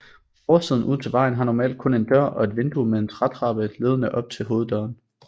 Forsiden ud til vejen har normalt kun en dør og et vindue med en trætrappe ledende op til hoveddøren